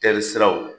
Taari siraw